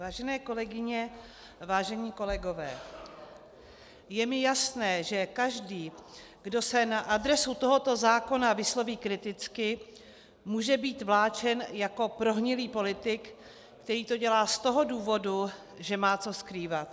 Vážené kolegyně, vážení kolegové, je mi jasné, že každý, kdo se na adresu tohoto zákona vysloví kriticky, může být vláčen jako prohnilý politik, který to dělá z toho důvodu, že má co skrývat.